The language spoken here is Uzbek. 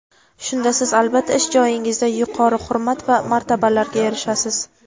Shunda siz albatta ish joyingizda yuqori hurmat va martabalarga erishasiz.